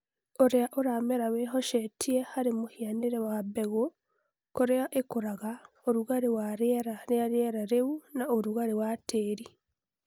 Ũrĩa ũramera wĩhocetie harĩ mũhianĩre wa mbegũ, kũrĩa ikũraga, ũrugarĩ wa rĩera rĩa rĩera rĩu, na ũrugarĩ wa tĩĩri